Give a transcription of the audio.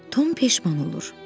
Tom peşman olur.